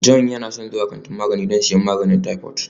Joy yana son zuwa kantin magani don siyan magungunan typhoid